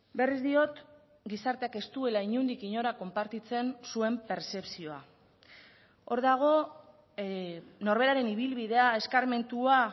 berriz diot gizarteak ez duela inondik inora konpartitzen zuen pertzepzioa hor dago norberaren ibilbidea eskarmentua